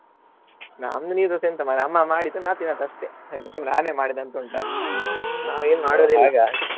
ನಮ್ದು ನೀರ್ ದೋಸೆ ಎಂತ ಮಾರ್ರೆ ಅಮ್ಮ ಮಾಡಿದ್ ನಾನ್ ತಿನ್ನೋದು ಅಷ್ಟೇ recipe ನಾನೆ ಮಾಡಿದಂತುಂಟಾ ನಾವ್ ಏನ್ ಮಾಡೋದೇ ಇಲ್ಲ .